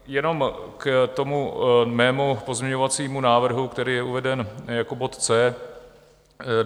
Jenom k tomu mému pozměňovacímu návrhu, který je uveden jako bod C.